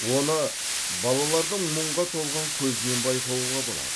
оны балалардың мұңға толған көзінен байқауға болады